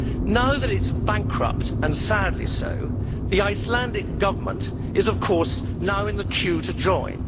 Now that it is bankrupt, and sadly so, the Icelandic Government is, of course, in the queue to join.